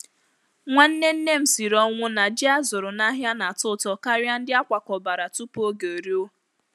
Nwanne nne m siri ọnwụ na ji a zụrụ n’ahịa na-atọ ụtọ karịa ndị a kwakọbara tupu oge eruo.